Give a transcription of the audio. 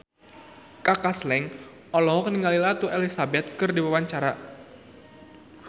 Kaka Slank olohok ningali Ratu Elizabeth keur diwawancara